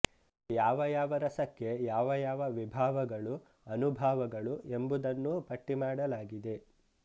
ಯಾವ ಯಾವ ರಸಕ್ಕೆ ಯಾವ ಯಾವ ವಿಭಾವಗಳು ಅನುಭಾವಗಳು ಎಂಬುದನ್ನೂ ಪಟ್ಟಿಮಾಡಲಾಗಿದೆ